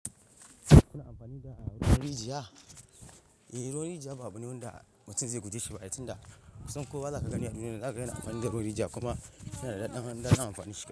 Kuna amfani da ruwan rijiya? Eh, ruwan rijiya ba abu ne da mutum zai guje shi ba, ai tinda kusan kowa zaka gani a duniyan nan zaka ga yana amfani da ruwan rijiya kuma yana da daɗin ɗadin amfanin shi.